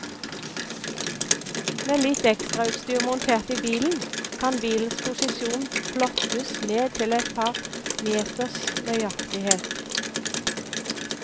Med litt ekstrautstyr montert i bilen, kan bilens posisjon plottes ned til et par meters nøyaktighet.